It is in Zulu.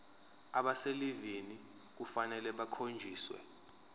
abaselivini kufanele bakhonjiswe